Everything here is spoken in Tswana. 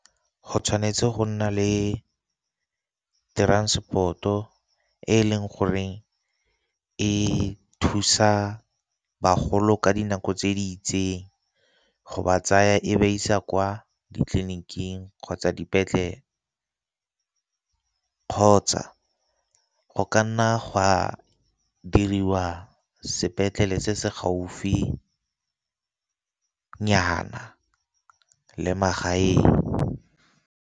Go tshwanetse go nna le transport-o e leng goreng e thusa bagolo ka dinako tse di itseng, go ba tsaya e ba isa kwa ditleliniking kgotsa dipetlele kgotsa go ka nna gwa diriwa sepetlele se se gaufinyana le magaeng.